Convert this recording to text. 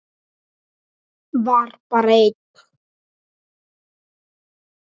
Var bara einn?